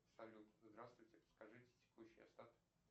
салют здравствуйте подскажите текущий остаток